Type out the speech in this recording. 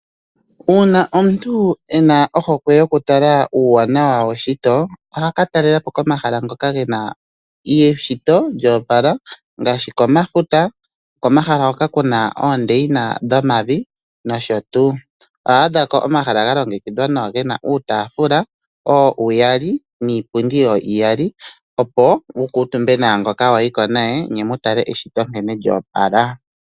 Uuna omuntu ena ohokwe yokutal uuwanawa weshito ohaka talelepo komahala ngoka gena eshito lyo opala ngaashi komafuta ,Komahala hoka kuna oondeina dhomavi nosho tuu . Oho adhako omahala ga longekidhwa nawa gena uutaafula uyali niipundi iyali opo wu kuutumbe naangoka wayiko naye ne mu tale eshito nkene lyo opala.